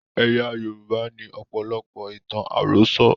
Ẹ̀yà Yorùbá ní ọ̀pọ̀lọpọ̀ ìtàn àròsọ.